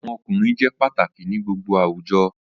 Awọn ọkunrin jẹ pataki ni gbogbo awujọ